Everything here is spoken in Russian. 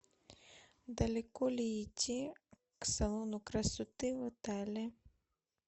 далеко ли идти к салону красоты в отеле